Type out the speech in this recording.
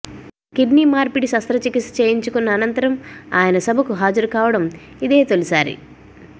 kidney మార్పిడి శస్త్రచికిత్స చేయించుకున్న అనంతరం ఆయన సభకు హాజరుకావడం ఇదే తొలిసారి